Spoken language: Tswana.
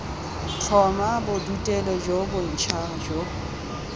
tlhoma bodutelo jo bontsha jo